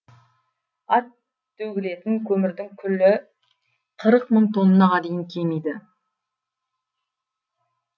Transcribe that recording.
ал төгілетін көмірдің күлі қырық мың тоннаға дейін кемиді